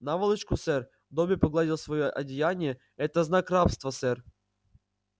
наволочку сэр добби погладил своё одеяние это знак рабства сэр